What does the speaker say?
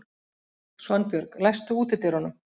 Svanbjörg, læstu útidyrunum.